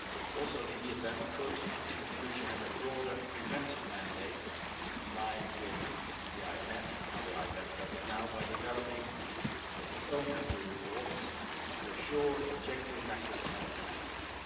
Also, the ESM could in the future have a broader preventive mandate in line with how the IMF does it now by developing its own country reports to assure objective macroeconomic analysis.